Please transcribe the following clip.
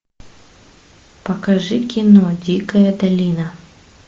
покажи кино дикая долина